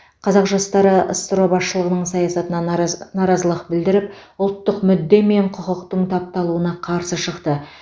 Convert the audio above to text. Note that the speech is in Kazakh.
қазақ жастары ссро басшылығының саясатына нараз наразылық білдіріп ұлттық мүдде мен құқықтың тапталуына қарсы шықты